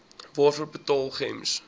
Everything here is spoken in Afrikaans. waarvoor betaal gems